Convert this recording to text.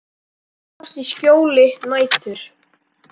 Þeir þrífast í skjóli nætur.